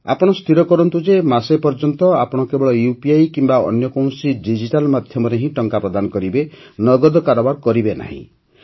ଆପଣ ସ୍ଥିର କରନ୍ତୁ ଯେ ମାସେ ପର୍ଯ୍ୟନ୍ତ ଆପଣ କେବଳ ୟୁପିଆଇ କିମ୍ବା ଅନ୍ୟ କୌଣସି ଡିଜିଟାଲ୍ ମାଧ୍ୟମରେ ହିଁ ଟଙ୍କା ପ୍ରଦାନ କରିବେ ନଗଦ କାରବାର କରିବେ ନାହିଁ